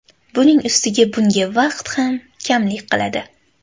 Buning ustiga bunga vaqt ham kamlik qiladi.